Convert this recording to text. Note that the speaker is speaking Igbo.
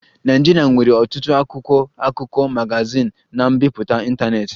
Nigeria nwere ọtụtụ akwụkwọ akụkọ, magazin na mbipụta ntanetị